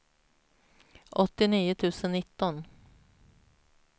åttionio tusen nitton